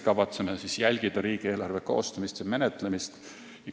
Kavatseme jälgida riigieelarve koostamist ja menetlemist.